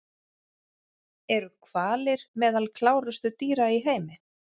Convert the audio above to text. Eru hvalir meðal klárustu dýra í heimi?